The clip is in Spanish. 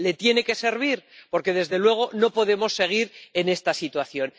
Le tiene que servir, porque, desde luego, no podemos seguir en esta situación.